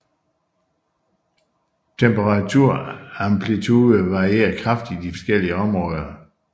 Temperaturamplitude varierer kraftigt i de forskellige områder